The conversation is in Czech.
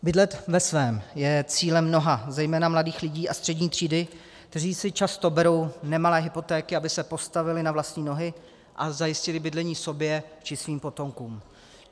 Bydlet ve svém je cílem mnoha zejména mladých lidí a střední třídy, kteří si často berou nemalé hypotéky, aby se postavili na vlastní nohy a zajistili bydlení sobě či svým potomkům.